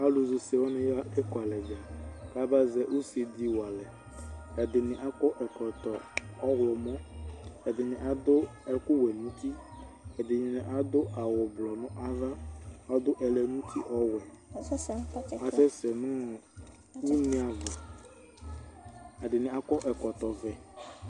Alʋ zɛ use wanɩ aɣa ekualɛ bɛ ,ka ba zɛ use dɩ walɛ ; ɛdɩnɩ akɔ ɛkɔtɔ ɔɣlɔmɔ, ɛdɩnɩ adʋ ɛkʋ wɛ nuti ,ɛdɩnɩ adʋ awʋ blʋ nava Adʋ ɛlɛnuti ɔwɛ asɛsɛ nʋ une ava ,ɛdɩnɩ akɔ ɛkɔtɔ vɛ